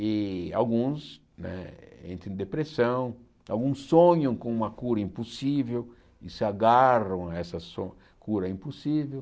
E alguns né entram em depressão, alguns sonham com uma cura impossível e se agarram a essa so cura impossível.